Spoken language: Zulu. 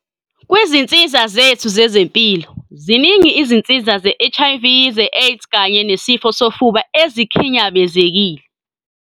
.kwizinsiza zethu zezempilo, ziningi izinsiza ze-HIV, ze-AIDS kanye nesifo sofuba ezikhinyabezekile.